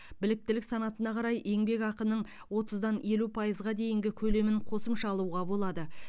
біліктілік санатына қарай еңбекақының отыздан елу пайызға дейінгі көлемін қосымша алуға болады